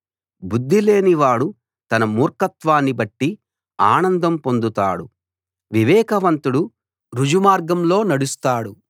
బుద్ధిలేని వాడు తన మూర్ఖత్వాన్ని బట్టి ఆనందం పొందుతాడు వివేకవంతుడు ఋజుమార్గంలో నడుస్తాడు